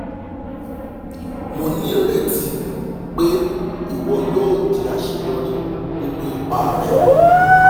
mo nireti pe iwọ yoo di aṣeyọri ninu ipa rẹ